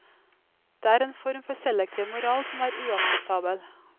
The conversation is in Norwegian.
Det er en form for selektiv moral som er uakseptabel.